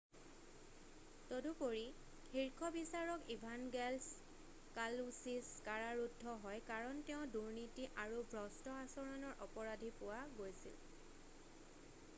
তদুপৰি শীৰ্ষ বিচাৰক ইভানগেলছ কালউছিছ কাৰাৰুদ্ধ হয় কাৰণ তেওঁ দুৰ্নীতি আৰু ভ্ৰষ্ট আচৰণৰ অপৰাধী পোৱা গৈছিল৷